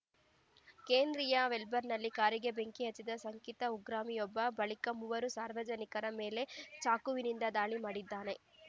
ಕೇಂದ್ರೀಯ ವೆಲ್ಬರ್ನ್‌ನಲ್ಲಿ ಕಾರಿಗೆ ಬೆಂಕಿ ಹಚ್ಚಿದ ಶಂಕಿತ ಉಗ್ರಮಿಯೊಬ್ಬ ಬಳಿಕ ಮೂವರು ಸಾರ್ವಜನಿಕರ ಮೇಲೆ ಚಾಕುವಿನಿಂದ ದಾಳಿ ಮಾಡಿದ್ದಾನೆ